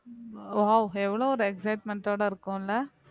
wow எவ்வளவு ஒரு excitement ஓட இருக்கும்ல